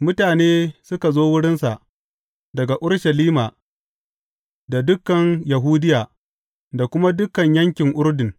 Mutane suka zo wurinsa daga Urushalima da dukan Yahudiya da kuma dukan yankin Urdun.